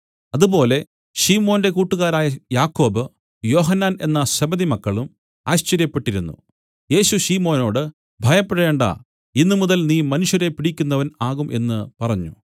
അതുപോലെ ശിമോന്റെ കൂട്ടുകാരായ യാക്കോബ് യോഹന്നാൻ എന്ന സെബെദിമക്കളും ആശ്ചര്യപ്പെട്ടിരുന്നു യേശു ശിമോനോട് ഭയപ്പെടേണ്ടാ ഇന്ന് മുതൽ നീ മനുഷ്യരെ പിടിക്കുന്നവൻ ആകും എന്നു പറഞ്ഞു